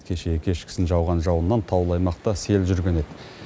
кешегі кешкісін жауған жауыннан таулы аймақта сел жүрген еді